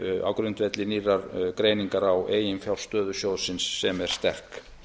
á grundvelli nýrrar greiningar á eiginfjárstöðu sjóðsins sem er sterk